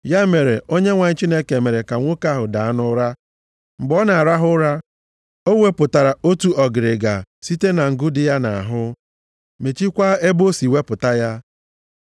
Ya mere, Onyenwe anyị Chineke mere ka nwoke ahụ daa nʼụra. Mgbe ọ nọ na-arahụ ụra, o wepụtara otu ọgịrịga site na ngụ dị ya nʼahụ, mechikwaa ebe o si wepụta ya.